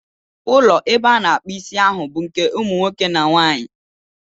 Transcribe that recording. Ụlọ ebe a na-akpu Ịsị ahụ bụ nke umu nwoke na nwanyị.